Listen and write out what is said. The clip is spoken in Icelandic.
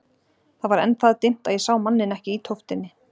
Það var enn það dimmt að ég sá manninn ekki í tóftinni.